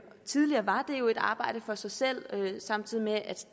tidligere var det jo et arbejde for sig selv samtidig med at